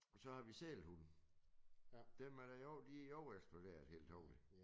Så har vi sælhunde. Dem er der i år de i år eksploderet helt utroligt